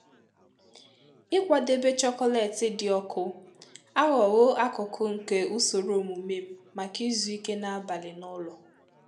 Ịkwadebe chocolate dị ọkụ aghọwo akụkụ nke ụsoro omume m maka izuike n’abalị n'ụlọ.